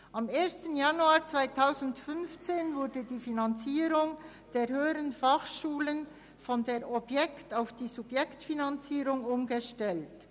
Am 1. Januar 2015 wurde die Finanzierung der Hochschulen von der Objekt- auf die Subjektfinanzierung umgestellt.